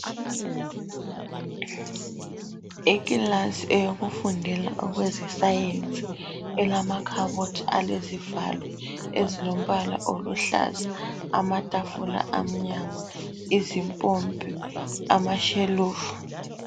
Ikhilasi eyokufundela okweze sayensi elamakhabothi alezivalo ezilombala oluhlaza ,amathafula amnyama , izimpompi amashelufu.